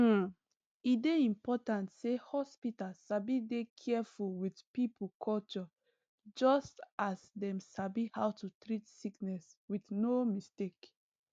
hmm e dey important say hospital sabi dey careful with people culture just as dem sabi how to treat sickness with no mistake